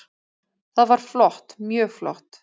Það var flott, mjög flott.